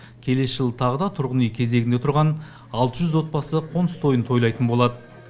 келесі жылы тағы да тұрғын үй кезегінде тұрған алты жүз отбасы қоныс тойын тойлайтын болады